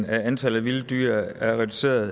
at antallet af vilde dyr er reduceret